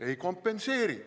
Ei kompenseeri.